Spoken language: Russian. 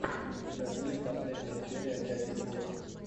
у тебя будет последняя серия дяди гоши